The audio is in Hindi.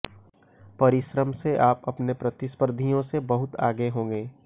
परिश्रम से आप अपने प्रतिस्पर्धियों से बहुत आगे होंगे